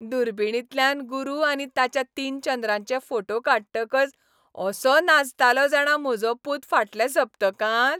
दुर्बिणींतल्यान गुरू आनी ताच्या तीन चंद्रांचे फोटे काडटकच असो नाचतालो जाणा म्हजो पूत फाटल्या सप्तकांत!